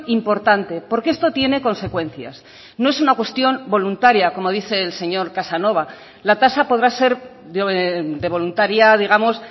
importante porque esto tiene consecuencias no es una cuestión voluntaria como dice el señor casanova la tasa podrá ser de voluntaria digamos